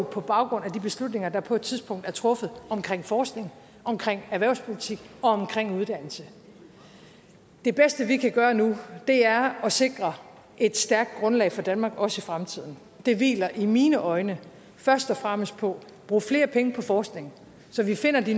på baggrund af de beslutninger der på et tidspunkt er truffet omkring forskning omkring erhvervspolitik og omkring uddannelse det bedste vi kan gøre nu er at sikre et stærkt grundlag for danmark også i fremtiden og det hviler i mine øjne først og fremmest på at bruge flere penge på forskning så vi finder de